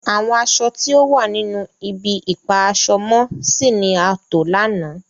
Àwọn àṣọ̀ ti o wà nínu ìbi-ipa-aṣọ-mọ-sí ni a tó lana.